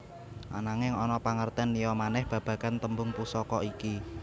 Ananging ana pangertén liya manèh babagan tembung Pusaka iki